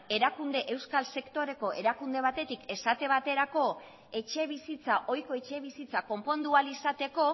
euskal sektoreko erakunde batetik esate baterako etxe bizitza ohiko etxebizitza konpondu ahal izateko